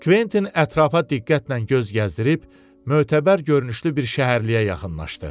Kventin ətrafa diqqətlə göz gəzdirib mötəbər görünüşlü bir şəhərliyə yaxınlaşdı.